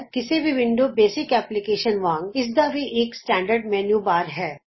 ਕਿਸੇ ਵੀ window based application ਵਾਂਗ ਇਸਦਾ ਵੀ ਇਕ ਸਟੈਂਡਰਡ ਮੈਨਯੂ ਬਾਰ ਹੈ